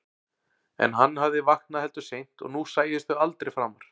En hann hafði vaknað heldur seint og nú sæjust þau aldrei framar.